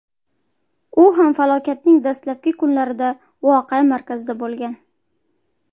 U ham falokatning dastlabki kunlarida voqea markazida bo‘lgan.